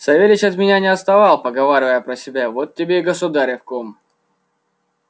савельич от меня не отставал поговаривая про себя вот тебе и государев кум